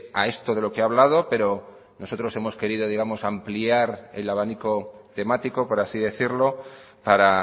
a esto de lo que he hablado pero nosotros hemos querido digamos ampliar el abanico temático por así decirlo para